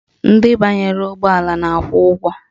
Ndị banyere ụgbọala na-akwụ ụgwọ